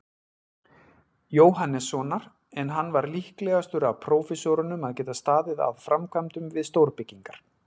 Jóhannessonar, en hann var líklegastur af prófessorunum að geta staðið að framkvæmdum við stórbyggingar.